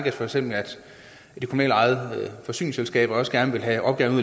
at for eksempel de kommunalt ejede forsyningsselskaber også gerne vil have opgaven